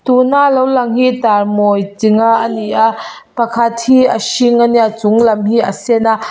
tuna lo lang hi tar mawi chi nga ani a pakhat hi a hring ania a chunglam hi a sen a.